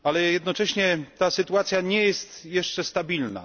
Jednocześnie ta sytuacja nie jest jeszcze stabilna.